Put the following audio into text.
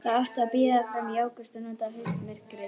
Það átti að bíða fram í ágúst og nota haustmyrkrið.